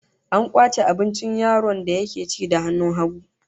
An kwace abincin yaron da yake ci da hannun hagu